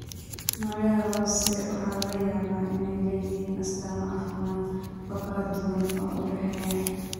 Noocyada hoose waxaa laga yaabaa inay leeyihiin astaamo caafimaad oo kala duwan oo u dhexeeya.